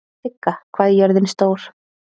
Sigga, hvað er jörðin stór?